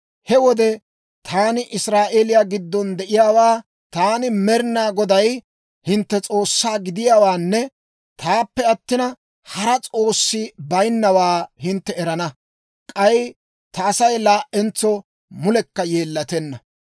He wode taani Israa'eeliyaa giddon de'iyaawaa, taani Med'inaa Goday hintte S'oossaa gidiyaawaanne taappe attina, hara s'oossi bayinnawaa hintte erana. K'ay ta Asay laa"entso mulekka yeellatenna.